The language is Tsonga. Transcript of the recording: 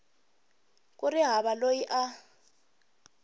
ku ri hava loyi a